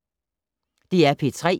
DR P3